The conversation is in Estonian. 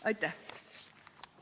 Aitäh!